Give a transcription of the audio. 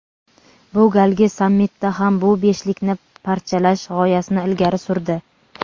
bu galgi sammitda ham bu beshlikni "parchalash" g‘oyasini ilgari surdi.